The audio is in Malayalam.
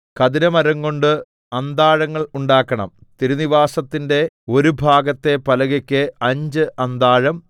ഖദിരമരംകൊണ്ടു അന്താഴങ്ങൾ ഉണ്ടാക്കണം തിരുനിവാസത്തിന്റെ ഒരു ഭാഗത്തെ പലകയ്ക്ക് അഞ്ച് അന്താഴം